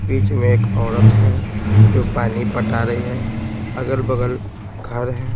बीच में एक औरत है जो पानी पटा रही है अगल-बगल घर है।